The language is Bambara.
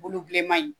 Bulu bilenman in